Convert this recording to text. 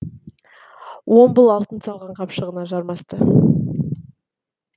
уомбл алтын салған қапшығына жармасты